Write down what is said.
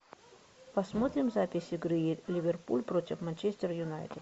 посмотрим запись игры ливерпуль против манчестер юнайтед